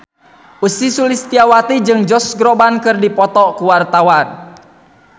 Ussy Sulistyawati jeung Josh Groban keur dipoto ku wartawan